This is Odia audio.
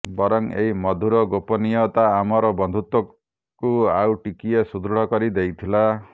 ବରଂ ଏଇ ମଧୁର ଗୋପନୀୟତା ଆମର ବନ୍ଧୁତ୍ୱକୁ ଆଉ ଟିକିଏ ସୁଦୃଢ଼ କରି ଦେଇଥିଲା